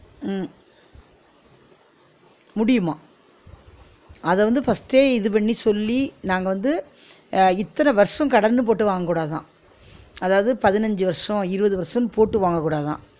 உம் முடியும்மா அத வந்து first ஏ இது பண்ணி சொல்லி நாங்க வந்து அஹ் இத்தன வருஷம் கடன்னு போட்டு வாங்க கூடாதாம் அதாவது பதினஞ்சு வருஷோ இருவது வருஷோனு போட்டு வாங்க கூடாதாம்